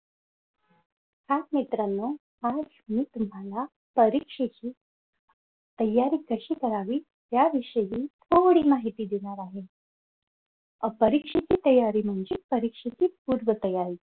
hi मित्रांनी आज मी तुम्हाला परीक्षेची तयारी कशी करावी याविषयी थोडी माहिती देणार आहे. अह